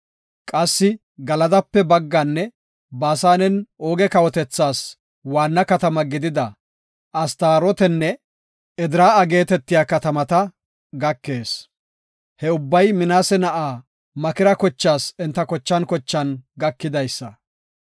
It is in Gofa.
Qassi Galadape bagganne Baasanen Ooge kawotethaas waanna katamaa gidida Astarootenne Edraa7a geetetiya katamata gakees. He ubbay Minaase na7a Makira kochaas enta kochan kochan gakidaysa.